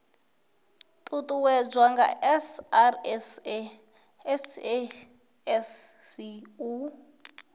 uuwedzwa nga srsa sasc u